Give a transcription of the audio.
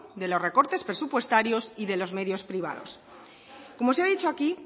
de los recortes presupuestarios y de los medios privados como se ha dicho aquí